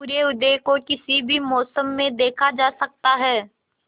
सूर्योदय तो किसी भी मौसम में देखा जा सकता है